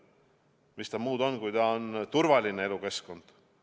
Mis ta muud on kui mitte turvaline elukeskkond.